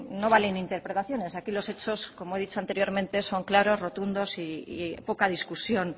no valen interpretaciones aquí los hechos como he dicho anteriormente son claros rotundos y poca discusión